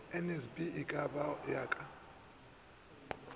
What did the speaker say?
nsb eka go ya ka